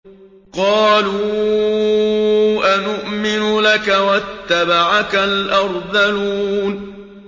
۞ قَالُوا أَنُؤْمِنُ لَكَ وَاتَّبَعَكَ الْأَرْذَلُونَ